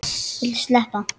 Viltu sleppa!